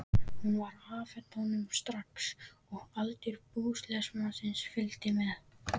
Hún var afhent honum strax og allur búsmalinn fylgdi með.